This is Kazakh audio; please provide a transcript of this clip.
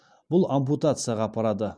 бұл ампутацияға апарады